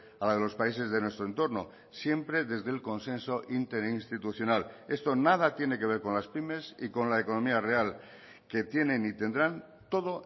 a la de los países de nuestro entorno siempre desde el consenso interinstitucional esto nada tiene que ver con las pymes y con la economía real que tienen y tendrán todo